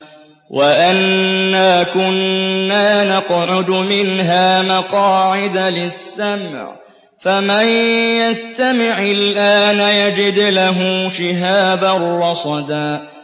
وَأَنَّا كُنَّا نَقْعُدُ مِنْهَا مَقَاعِدَ لِلسَّمْعِ ۖ فَمَن يَسْتَمِعِ الْآنَ يَجِدْ لَهُ شِهَابًا رَّصَدًا